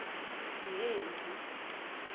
yengci